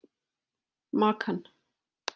Makan